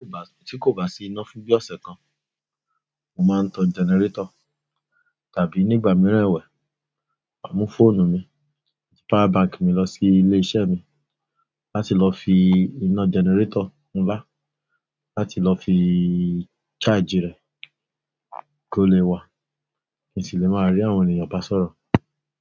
Tí kò bá sí iná fún bí ọ̀sẹ̀ kan, mo máa ń tan generator. Tàbí nígbà mìíràn ẹ̀wẹ̀, màá mú fóònù mi àti power bank mi lọ sí ilé iṣẹ́ mi láti lọ fi iná generator ńlá, láti lọ fi charge rẹ̀ kó lè wà. Kí n sì lè máa rí àwọn ènìyàn bá sọ̀rọ̀.